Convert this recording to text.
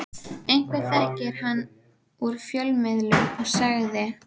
Einhver þekkti hann úr fjölmiðlum og sagði